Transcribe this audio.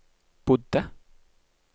bodde